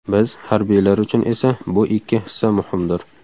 Biz, harbiylar uchun esa bu ikki hissa muhimdir.